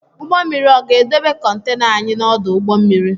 Ụgbọ mmiri ọ ga edebe kontana anyị n’ọdụ ụgbọ mmiri?